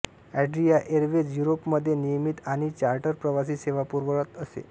Adria Airways युरोममध्ये नियमित आणि चार्टर प्रवासी सेवा पुरवत असे